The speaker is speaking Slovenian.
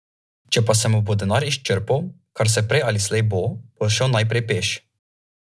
Predsednik Liberalne akademije Darko Štrajn podporo javnosti povezuje z Jankovićevim ravnanjem.